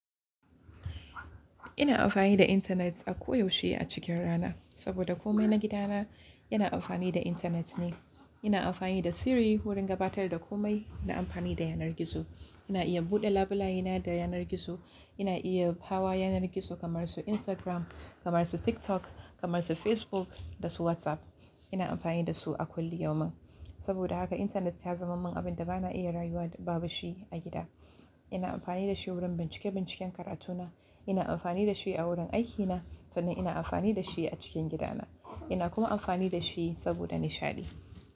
Ina amfani da intanet a ko yaushe a cikin rana, saboda kome na gidana yana amfani da intanet ne. Ina amfani da Siri wurin gabatar da kome na amfani da yanar gizo. Ina iya buɗe labulaye na da yanar gizo. Ina iya hawa yanar gizo kamar su Instagram, kamar su TikTok, kamar su Facebook da su WhatsApp. Ina amfani da su a kullu yau min. Saboda haka intanet ya zama min abin da ba na iya rayuwa da babu shi a gida. Ina amfani da shi wurin bincike binciken karatuna. Ina amfani da shi a wurin aikina sannan ina amfani da shi a cikin gidana. Ina kuma amfani da shi saboda nishaɗi.